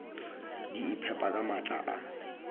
di iphepa ka maatla a